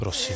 Prosím.